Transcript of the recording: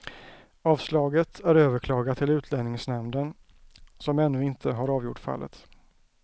Avslaget är överklagat till utlänningsnämnden som ännu inte har avgjort fallet.